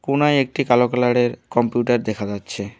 কোণায় একটি কালো কালার -এর কম্পিউটার দেখা যাচ্ছে।